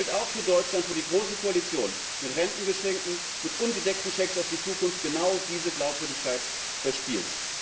Das gilt auch für Deutschland, wo die große Koalition mit Rentengeschenken, mit ungedeckten Schecks auf die Zukunft genau diese Glaubwürdigkeit verspielt.